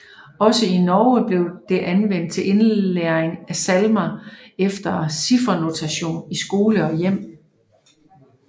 Også i Norge blev det anvendt til indlæring af salmer efter ciffernotation i skole og hjem